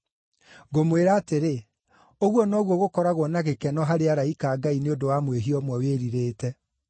Ngũmwĩra atĩrĩ, ũguo noguo gũkoragwo na gĩkeno harĩ araika a Ngai nĩ ũndũ wa mwĩhia ũmwe wĩrirĩte.”